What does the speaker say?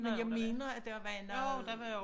Men jeg mener der var noget